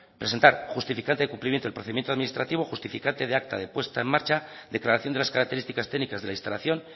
presentar justificante de cumplimiento del procedimiento administrativo justificante de acta de puesta en marcha declaración de las características técnicas de la instalación